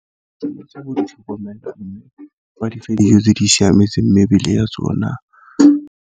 Tsa bo tlhokomela mme ba dife tse di siametse mebele ya tsona.